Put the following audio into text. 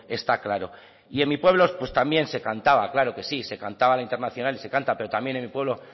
está claro y en mi pueblo también se cantaba por supuesto que sí se cantaba el internacional y se canta pero también en mi pueblo